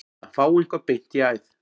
Að fá eitthvað beint í æð